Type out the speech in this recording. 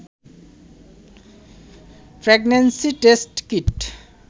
pregnancy test kit